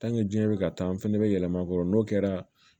diɲɛ bɛ ka taa an fɛnɛ bɛ yɛlɛma k'o n'o kɛra